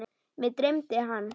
Mig dreymdi hann.